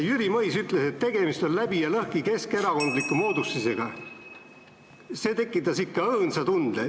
Tema on öelnud, et tegemist on läbi ja lõhki keskerakondliku moodustisega: "See tekitas ikka õõnsa tunde.